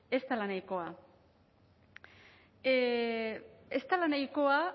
ez dela nahikoa ez dela nahikoa